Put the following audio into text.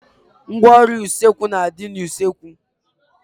Ngwaọrụ usekwu na a dị n'usekwu